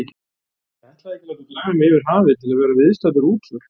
Ég ætlaði ekki að láta draga mig yfir hafið til að vera viðstaddur útför.